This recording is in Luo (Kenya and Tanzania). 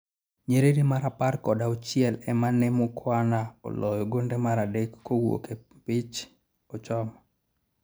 nyiriri mar apar kod auchiel emane Mukhwana oloyo gonde mar adek kowuok e mpich achoma